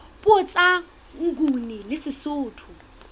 puo tsa nguni le sesotho